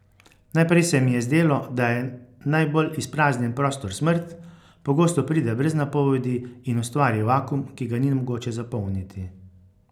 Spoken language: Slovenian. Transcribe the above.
Najprej se mi je zdelo, da je najbolj izpraznjen prostor smrt, pogosto pride brez napovedi in ustvari vakuum, ki ga ni mogoče zapolniti.